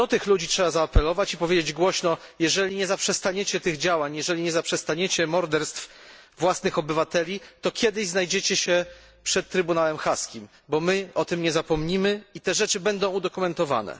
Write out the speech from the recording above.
Do tych ludzi trzeba zaapelować i powiedzieć głośno Jeżeli nie zaprzestaniecie tych działań, jeżeli nie zaprzestaniecie morderstw własnych obywateli, to kiedyś znajdziecie się przed trybunałem haskim, bo my o tym nie zapomnimy i te rzeczy będą udokumentowane.